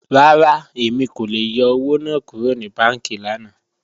Rárá, Emi kò lè yọ́ owo naa kúrò ni bànkí lànà.